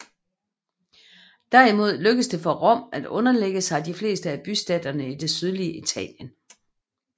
Derimod lykkedes det for Rom at underlægge sig de fleste af bystaterne i det sydlige Italien